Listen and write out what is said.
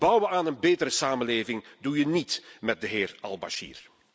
Bouwen aan een betere samenleving doe je niet met de heer Al Bashir.